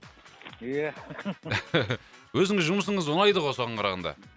ия өзіңіз жұмысыз ұнайды ғой соған қарағанда